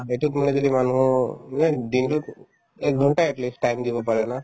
এইটোৰ মানে যদি মানুহৰ এই দিনতোত একঘণ্টা at least time দিব পাৰে ন